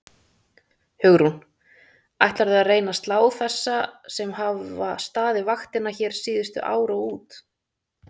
Hugrún: Ætlarðu að reyna að slá þessa sem hafa staðið vaktina hérna síðustu ár út?